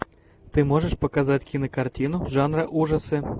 ты можешь показать кинокартину жанра ужасы